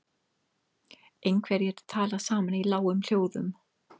Einhverjir tala saman í lágum hljóðum.